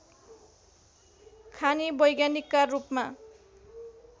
खानी वैज्ञानिकका रूपमा